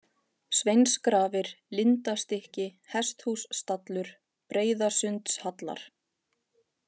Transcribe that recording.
Sveinsgrafir, Lindastykki, Hesthússtallur, Breiðasundshallar